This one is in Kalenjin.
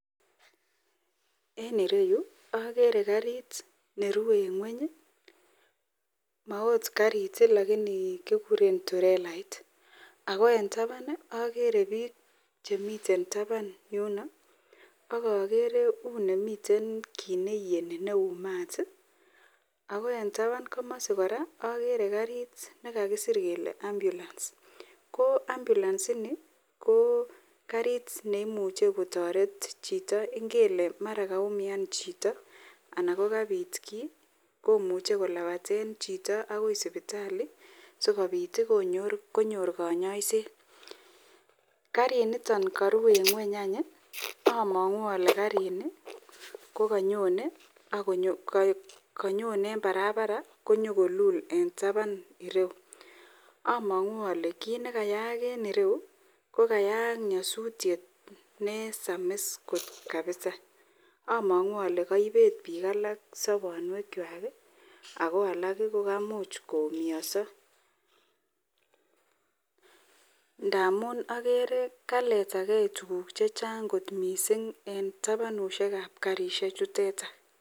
En ireyu agere karit nerue en ngweny maokot karit niton ko tirelait AK en taban akere bik Chemiten taban yuton akakere kounemiiten kit niyeni Kou mat akoe en taban kamasi koraa agere karit nekakisir Kole ambulance ko ambulance inib KO karit neimuche kotaret Chito ngele mara kaumian Chito anan kokabit ki komuche kolabaten chito akoi sibitali sikobit konyor kanyaiset karit niton karuu en ngweny amangu ale karit niton kokanyonen en barabaret akolul en taban irou amangu ale kit nikayaak en Yu kokayak nyasutiet nesamis kot mising amangu Kole kaibet bik alak sabanwek chwak akoalak kokamuch koumioso ntamun akere Kole kaletagei tuguk chechang kot mising en tabanushek ab karishek chuteton